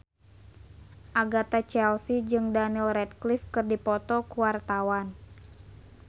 Agatha Chelsea jeung Daniel Radcliffe keur dipoto ku wartawan